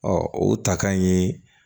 o takan ye